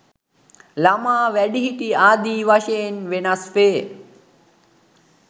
ළමා, වැඩිහිටි ආදි වශයෙන් වෙනස් වේ.